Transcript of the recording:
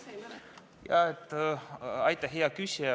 Aitäh, hea küsija!